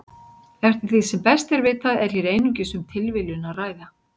Eftir því sem best er vitað er hér einungis um tilviljun að ræða.